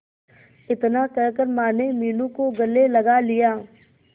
इतना कहकर माने मीनू को गले लगा लिया